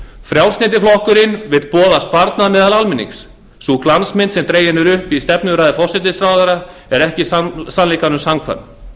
frjálslyndi flokkurinn vill boða sparnað meðal almennings sú glansmynd sem dregin er upp í stefnuræðu forsætisráðherra er ekki sannleikanum samkvæm